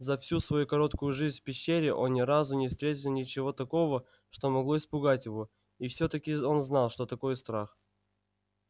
за всю свою короткую жизнь в пещере он ни разу не встретил ничего такого что могло испугать его и все таки он знал что такое страх